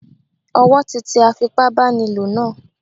Ọwọ́ tí tẹ afipá báni lò náà.